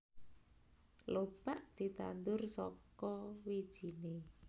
Lobak ditandur saka wijine